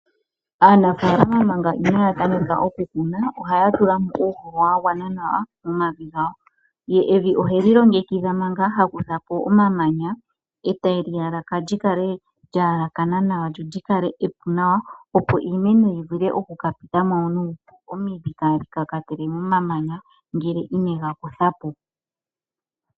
Aanafalama manga inaya tameka okukuna oha tulamo uuhoho wa gwana nawa momavi gawo. Evi oheli longekidha manga haku thapo omamanya eteli yalaka lyikale lya yelekana nawa lyo lyikale epu nawa opo iimeno yi vule oku ka pitamo nuupu omidho kadhi kakatele momamanya ngele inega kuthapo.